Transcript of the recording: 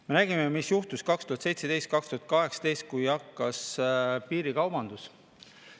Me nägime, mis juhtus 2017–2018, kui hakkas piirikaubandus.